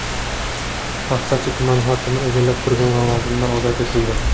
Paxtachi tumani hokimi egallab turgan lavozimidan ozod etildi.